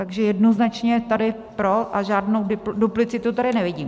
Takže jednoznačně tady pro a žádnou duplicitu tady nevidím.